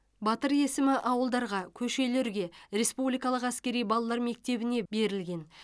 батыр есімі ауылдарға көшелерге республикалық әскери балалар мектебіне берілген